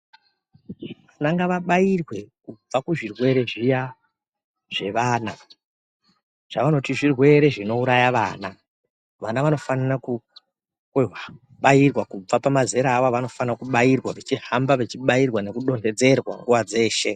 Vananga vabairwe kubva kuzvirwere zviya zvevana zvavanoti zvirwere zvinouraya vana vana vanofanira ku kubairwa kubva pamazera awo avanofanira kubairwa vachihamba vechibairwa vechidonhedzerwa nguwa dzeshe.